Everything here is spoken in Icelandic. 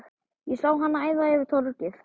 Ég sá hana æða yfir torgið.